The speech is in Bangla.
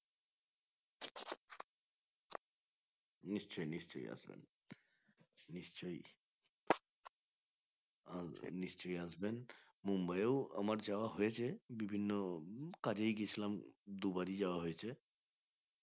নিশ্চই নিশ্চই আসবেন নিশ্চই আসবেন নিশ্চই আসবেন মুম্বাই এও আমার যাওয়া হয়েছে বিভিন্ন কাজেই গেছিলাম দুবারই যাওয়া হয়েছে